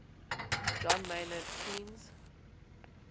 john maynard keynes